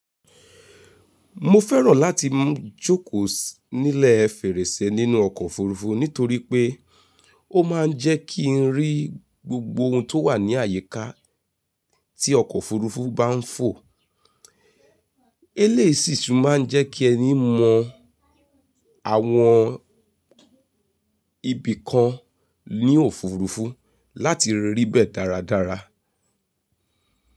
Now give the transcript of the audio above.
Mo fẹ́ràn láti jókòó nílẹ̀ fèrèsé nínú ọkọ̀ òfurufú nítorí pé ó máa ń jẹ́ kí n rí gbogbo ohun tó wà ní àyíká tí ọkọ̀ òfurufú bá ń fò. Eléyìí sì máa ń jẹ́ kí ẹni mọ àwọn ibì kan ní òfurufú láti rí bẹ̀ dáradára.